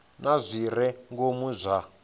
na zwi re ngomu zwa